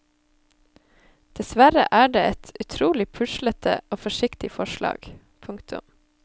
Dessverre er det et utrolig puslete og forsiktig forslag. punktum